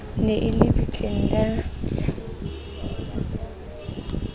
ne e le bitleng la